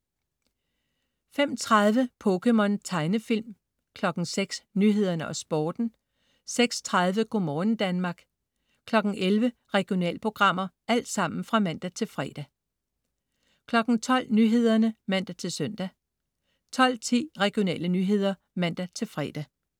05.30 POKéMON. Tegnefilm (man-fre) 06.00 Nyhederne og Sporten (man-fre) 06.30 Go' morgen Danmark (man-fre) 11.00 Regionalprogrammer (man-fre) 12.00 Nyhederne (man-søn) 12.10 Regionale nyheder (man-fre)